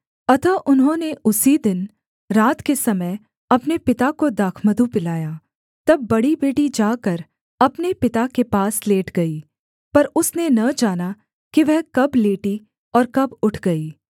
अतः उन्होंने उसी दिनरात के समय अपने पिता को दाखमधु पिलाया तब बड़ी बेटी जाकर अपने पिता के पास लेट गई पर उसने न जाना कि वह कब लेटी और कब उठ गई